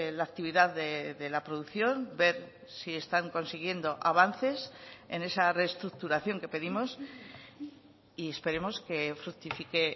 la actividad de la producción ver si están consiguiendo avances en esa reestructuración que pedimos y esperemos que fructifique